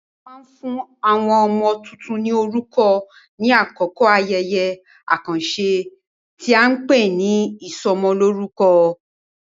A máa ń fún àwọn ọmọ tuntun ní orúkọ ní àkókò ayẹyẹ àkànṣe tí a ń pè ní ìsọmọlórúkọ.